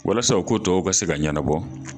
Walasa o ko tɔw ka se ka ɲɛnabɔ